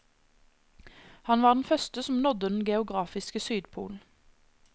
Han var den første som nådde den geografiske sydpol.